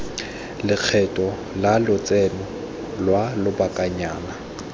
lekgetho la lotseno lwa lobakanyana